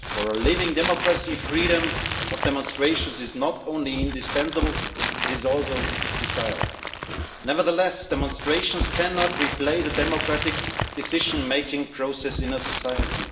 For a living democracy, freedom of demonstrations is not only indispensable, it is also desired. Nevertheless, demonstrations cannot replace a democratic decision making process in a society.